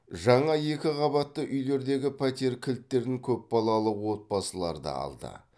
жаңа екі қабатты үйлердегі пәтер кілттерін көпбалалы отбасылар да алды